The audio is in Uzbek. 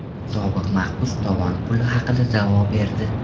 Sobiq mahbus tovon puli haqida da’vo berdi.